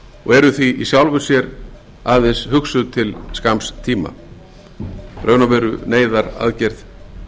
og eru því í sjálfu sér aðeins hugsuð til skamms tíma í raun og veru neyðaraðgerð